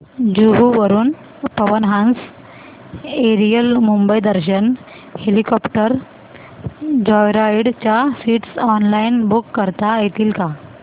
जुहू वरून Pawan Hans aerial Mumbai Darshan helicopter joyride च्या seats online book करता येतील का